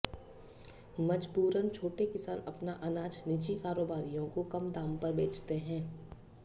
मजबूरन छोटे किसान अपना अनाज निजी कारोबारियों को कम दाम पर बेचते हैं